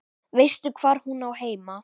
Veistu hvar hún á heima?